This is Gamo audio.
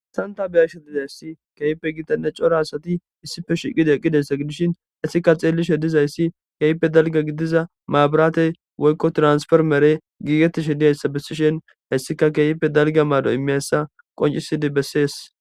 santa biyashe dizayssi keeype gitane cora asati issife shiqida qqidessa gidishin issika xeellishe dizayssi keype dalga gidiza maabaratey woykko transformere giigetishe diyayssa bessishen hayssika keeyipe dalga maado imeyessa qoncisidi bessees